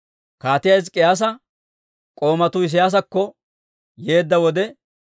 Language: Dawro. Kaatiyaa Hizk'k'iyaasa k'oomatuu Isiyaasakko yeedda wode,